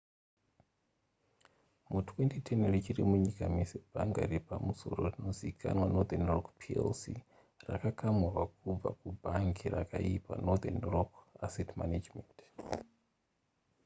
mu2010 richiri munyika mese bhanga repamusoro rinozivikanwa northern rock plc yakakamurwa kubva ku bhangi rakaipa northern rock asset management